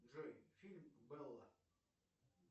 джой фильм белла